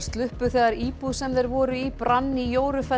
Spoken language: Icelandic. sluppu þegar íbúð sem þeir voru í brann í